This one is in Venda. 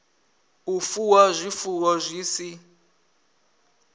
u fuwa zwifuwo zwi si